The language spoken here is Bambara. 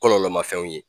Kɔlɔlɔ ma fɛnw ye